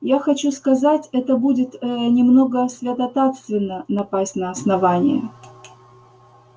я хочу сказать это будет э-э-э немного святотатственно напасть на основание